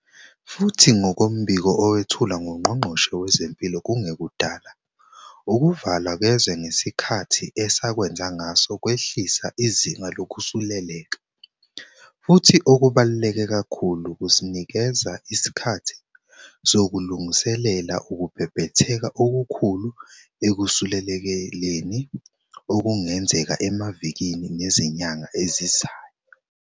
Futhi ngokombiko owethulwa nguNgqongqoshe Wezempilo kungekudala, ukuvalwa kwezwe ngesikhathi esakwenza ngaso kwehlise izinga lokusuleleka, futhi okubaluleke kakhulu, kusinikeze isikhathi sokulungiselela ukubhebhetheka okukhulu ekusulelekeni okungenzeka emavikini nezinyanga ezizayo.